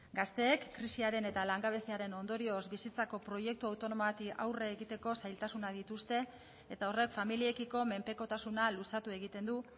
gazteek krisiaren eta langabeziaren ondorioz bizitzako proiektu autonomo bati aurre egiteko zailtasunak dituzte eta horrek familiekiko menpekotasuna luzatu egiten du